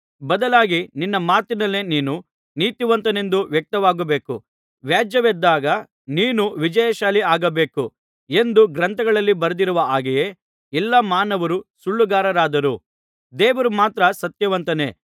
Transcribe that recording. ಬದಲಾಗಿ ನಿನ್ನ ಮಾತಿನಲ್ಲೇ ನೀನು ನೀತಿವಂತನೆಂದು ವ್ಯಕ್ತವಾಗಬೇಕು ವ್ಯಾಜ್ಯವೆದ್ದಾಗ ನೀನು ವಿಜಯಶಾಲಿ ಆಗಬೇಕು ಎಂದು ಗ್ರಂಥಗಳಲ್ಲಿ ಬರೆದಿರುವ ಹಾಗೆಯೇ ಎಲ್ಲಾ ಮಾನವರು ಸುಳ್ಳುಗಾರರಾದರೂ ದೇವರು ಮಾತ್ರ ಸತ್ಯವಂತನೇ